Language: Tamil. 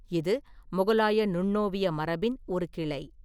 இது முகலாய நுண்ணோவிய மரபின் ஒரு கிளை.